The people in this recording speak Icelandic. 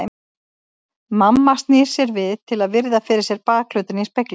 Mamma snýr sér við til að virða fyrir sér bakhlutann í speglinum.